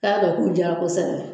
K'a ko k'u jara kosɛbɛ